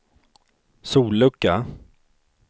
sollucka